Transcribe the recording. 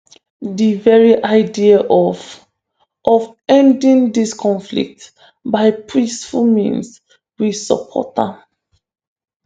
"di very idea of of ending dis conflict by peaceful means we support am."